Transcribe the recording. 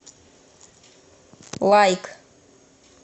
лайк